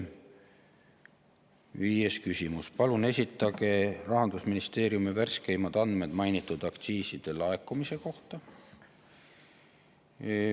Viies küsimus: "Palun esitage Rahandusministeeriumi värskeimad andmed mainitud aktsiiside laekumise osas.